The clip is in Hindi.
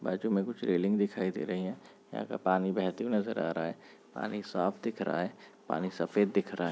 बाज़ू मे कुछ रैलिंग दिखाई दे रही है यहाँ का पानी बहते हुए नज़र आ रहा है पानी साफ दिख रहा है पानी सफेद दिख रहा है।